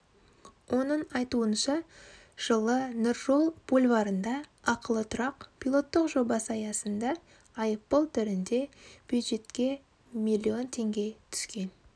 оның айтуынша жылы нұржол бульварында ақылы тұрақ пилоттық жобасы аясында айыппұл түрінде бюджетке миллион теңге түскен